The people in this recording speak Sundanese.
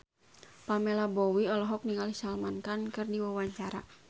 Pamela Bowie olohok ningali Salman Khan keur diwawancara